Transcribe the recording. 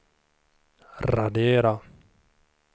radera